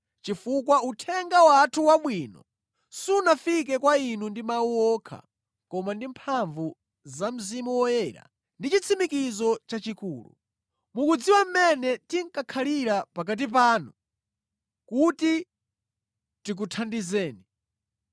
chifukwa uthenga wathu wabwino sunafike kwa inu ndi mawu okha, koma ndi mphamvu za Mzimu Woyera ndi chitsimikizo chachikulu. Mukudziwa mmene tinkakhalira pakati panu kuti tikuthandizeni.